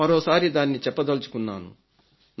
మరోసారి దాన్ని చెప్పదల్చుకున్నాను